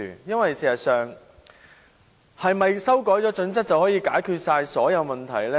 其實，是否修改《規劃標準》便可解決所有問題？